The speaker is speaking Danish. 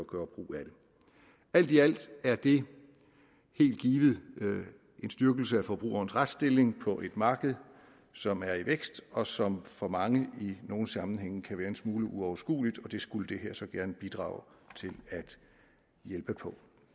gøre brug af det alt i alt er det helt givet en styrkelse af forbrugerens retsstilling på et marked som er i vækst og som for mange i nogle sammenhænge kan være en smule uoverskueligt og det skulle det her så gerne bidrage til at hjælpe på